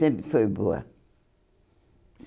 Sempre foi boa.